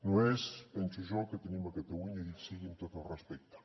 no és penso jo el que tenim a catalunya dit sigui amb tot el respecte